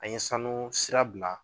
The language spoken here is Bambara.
An ye sanu sira bila